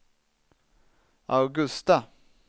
Augusta